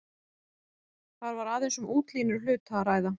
Þar var aðeins um útlínur hluta að ræða.